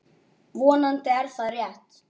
Vonandi er það rétt.